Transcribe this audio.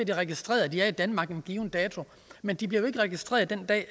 det registreret at de er i danmark en given dato men de bliver jo ikke registreret den dag